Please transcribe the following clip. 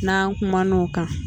N'an kuman'o kan